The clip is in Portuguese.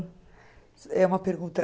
É uma pergunta.